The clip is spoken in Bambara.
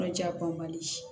Yɔrɔjanbali